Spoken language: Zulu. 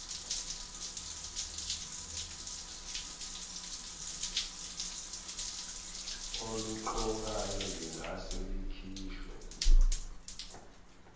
oluqokayo lingase likhishwe